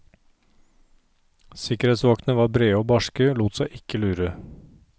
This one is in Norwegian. Sikkerhetsvaktene var brede og barske, lot seg ikke lure.